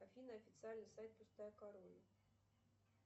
афина официальный сайт пустая корона